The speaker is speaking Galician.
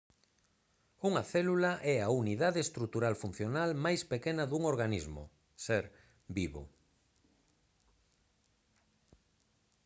unha célula é a unidade estrutural funcional máis pequena dun organismo ser vivo